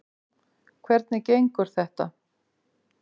Hvernig gengur þetta?